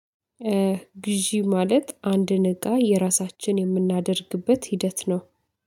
ግዢ ማለት አንድን እቃ የራሳችን የምናደርግበት ሂደት ነው